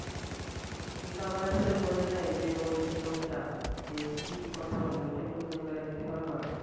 কিন্তু আমার আসলে মনে নাই যে ওই যে লোকটা যে কি কি কথা বলে, ওইটা একটু মনে করায়ে দিতা পারবা?